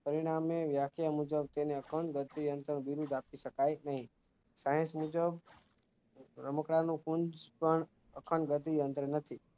પરિણામે વ્યાખ્યા મુજબ તેના કણ ઘટી આંતર વિધિ દાખવી શકાય નહીં science મુજબ રમકડાં નું કુંજ પણ અખંડગતિ અંદર નથી